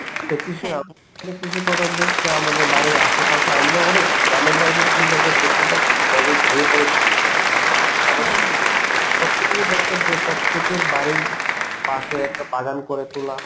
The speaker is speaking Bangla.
তা কৃষি কৃষি প্রধান দেশ যা আমাদের বাড়ির আশেপাশে আমাদের অনেক গ্রামের বাড়িতে তুমি দেখবে বেশিরভাগ জায়গাই খালি পরে থাকে আবার প্রত্যেকেরই দরকার যে প্রত্যেকের বাড়ির পাশে একটা বাগান করে তোলা